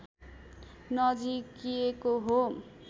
नजिकिएको हो